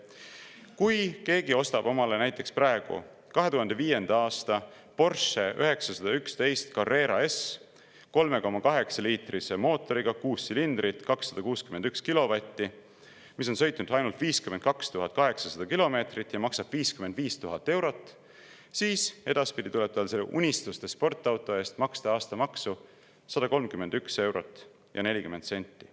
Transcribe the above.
Kui keegi ostab omale praegu 2005. aasta Porsche 911 Carrera S, 3,8-liitrise mootoriga, kuus silindrit, 261 kilovatti, mis on sõitnud ainult 52 800 kilomeetrit ja maksab 55 000 eurot, siis tuleb tal selle unistuste sportauto eest maksta aastamaksu 131 eurot ja 40 senti.